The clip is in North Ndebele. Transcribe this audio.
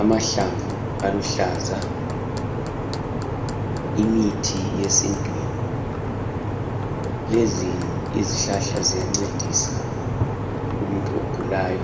Amahlabvu aluhlaza, imithi yesintwini lezi izihlahla ziyancedisa umuntu ogulayo